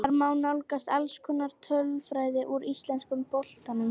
Þar má nálgast alls konar tölfræði úr íslenska boltanum.